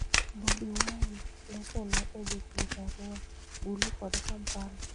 Bobi Wine nosenee gi jothieth Arua, Gulu kod Kampala.